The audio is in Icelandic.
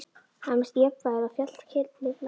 Hann missti jafnvægið og féll kylliflatur.